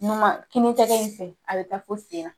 I bɛ tɛgɛ in ko, a bɛ taa fo senna.